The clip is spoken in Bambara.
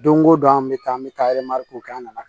Don o don an bɛ taa an bɛ taa kɛ an nana